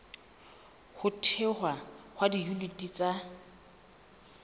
ho thehwa ha diyuniti tsa